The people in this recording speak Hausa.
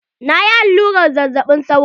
Na yi allurar zazzaɓin sauro.